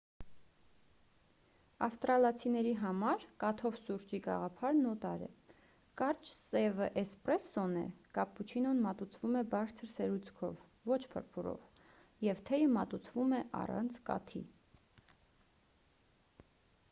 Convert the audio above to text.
ավստրալիացիների համար 'կաթով' սուրճի գաղափարն օտար է։ կարճ սևը 'էսպրեսսոն' է կապուչինոն մատուցվում է բարձր սերուցքով ոչ փրփուրով և թեյը մատուցվում է առանց կաթի։